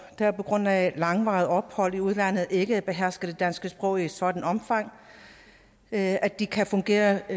der på grund af langvarigt ophold i udlandet ikke behersker det danske sprog i et sådant omfang at at de kan fungere i